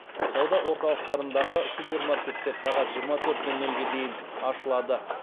сауда орталықтарындағы супермаркеттер сағат жиырма төрт нөл нөлге дейін ашылады